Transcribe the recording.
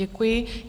Děkuji.